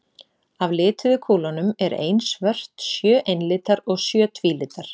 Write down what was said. Af lituðu kúlunum er ein svört, sjö einlitar og sjö tvílitar.